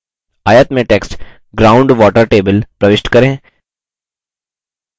आयत में text ground water table प्रविष्ट करें